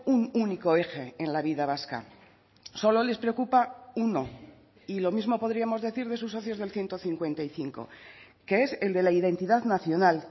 un único eje en la vida vasca solo les preocupa uno y lo mismo podríamos decir de sus socios del ciento cincuenta y cinco que es el de la identidad nacional